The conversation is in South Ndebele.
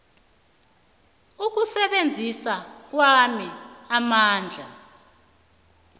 ukusebenzisa kwami amandla